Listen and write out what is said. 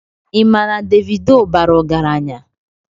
Ị ma na Davido bara ọgaranya?